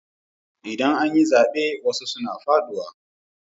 Idan an yi zaɓe wasu suna faɗuwa.